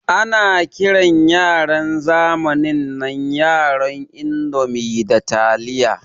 Ana kiran yaran zamanin nan yaran indomi da taliya.